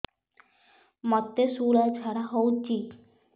ମୋତେ ଶୂଳା ଝାଡ଼ା ହଉଚି